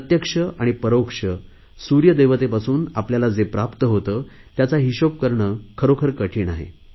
प्रत्यक्ष आणि परोक्ष सुर्यदेवतेपासून आपल्याला जे प्राप्त होते त्याचा हिशोब करणे कठीण आहे